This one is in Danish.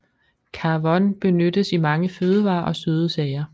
Carvon benyttes i mange fødevarer og søde sager